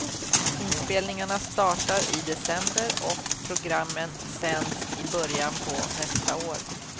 Inspelningarna startar i december och programmen sänds i början på nästa år.